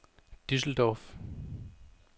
Düsseldorf